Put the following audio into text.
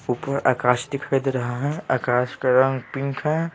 ऊपर आकाश दिखाई दे रहा है आकाश का रंग पिंक है।